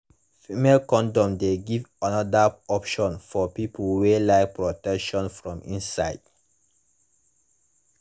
female condoms de give another option for people wey like protection from inside